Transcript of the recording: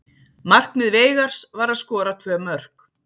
Markmið Veigars var að skora tvö mörk.